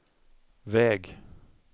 väg